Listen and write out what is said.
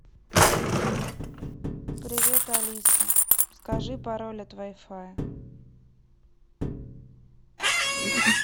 привет алиса скажи пароль от вай фая